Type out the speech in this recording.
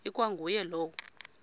ikwa nguye lowo